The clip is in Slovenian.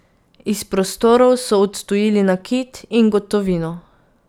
Iz prostorov so odtujili nakit in gotovino.